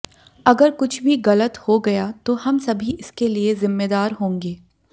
अगर कुछ भी गलत हो गया तो हम सभी इसके लिये जिम्मेदार होंगे